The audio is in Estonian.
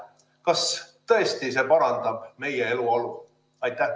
Kas see tõesti parandab meie eluolu?